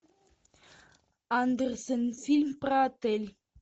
андерсон фильм про отель